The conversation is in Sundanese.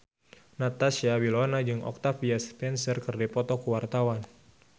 Natasha Wilona jeung Octavia Spencer keur dipoto ku wartawan